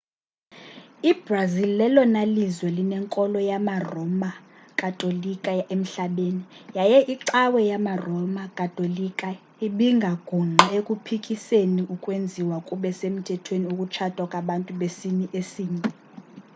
i-brazil lelona lizwe linenkolo yamaroma katolika emhlabeni yaye icawa yamaroma katolika ibingagungqi ekuphikiseni ukwenziwa kube semthethweni ukutshata kwabantu besini esinye